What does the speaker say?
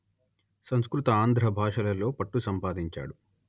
సంస్కృత ఆంధ్ర భాషలలో పట్టు సంపాదించాడు